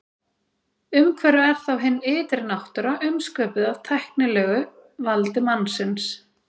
Umhverfið er þá hin ytri náttúra umsköpuð af tæknilegu valdi mannsins.